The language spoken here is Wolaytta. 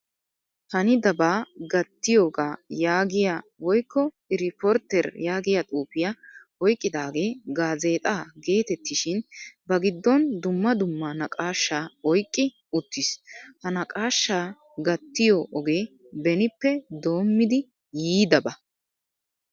Hanidaba gattiyoga yaagiyaa woykko iriporiter yaagiyaa xuufiyaa oyqqidage gaazexxa geetettishin ba giddon duma dumma naqqaashshaa oyqqi uttiis. Ha naqqaashaa gattiyo ogee benippe doommidi yiidaba.